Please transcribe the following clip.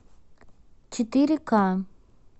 четыре к